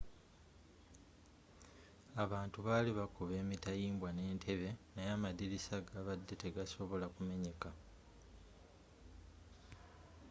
abantu bali bakuba emitayimbwa n'entebbe naye amadirisa gabadde tegasobola kumenyeka